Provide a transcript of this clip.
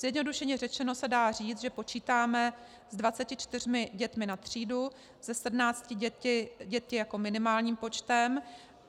Zjednodušeně řečeno se dá říct, že počítáme s 24 dětmi na třídu, se 17 dětmi jako minimálním počtem.